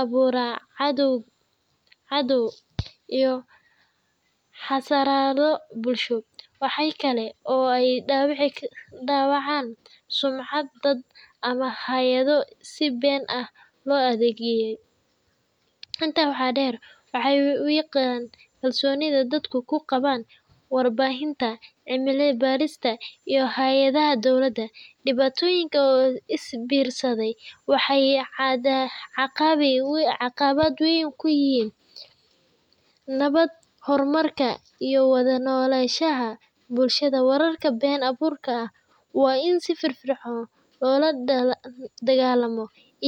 abuura cadaawad iyo xasarado bulsho. Waxa kale oo ay dhaawacaan sumcadda dad ama hay’ado si been ah loo eedeeyay. Intaa waxaa dheer, waxay wiiqaan kalsoonida dadku ku qabaan warbaahinta, cilmi-baarista, iyo hay’adaha dowladda. Dhibaatooyinkan oo is biirsaday waxay caqabad weyn ku yihiin nabadda, horumarka, iyo wada-noolaanshaha bulshada. Wararka been abuurka ah waa in si firfircoon loola dagaallamaa iyada.